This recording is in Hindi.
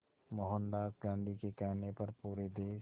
मोहनदास गांधी के कहने पर पूरे देश